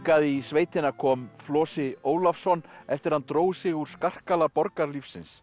í sveitina kom Flosi Ólafsson eftir að hann dró sig úr skarkala borgarlífsins